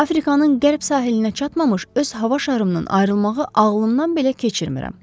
Afrikanın qərb sahilinə çatmamış öz hava şarımdan ayrılmağı ağlımdan belə keçirmirəm.